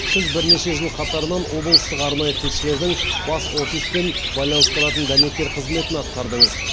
сіз бірнеше жыл қатарынан облыстық арнайы тілшілердің бас офиспен байланыстыратын дәнекер қызметін атқардыңыз